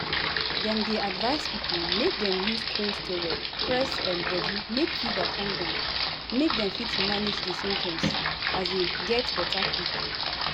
dem dey advise pipo make dem use cold towel press um body make fever come down make dem fit manage di symptoms um get beta quick.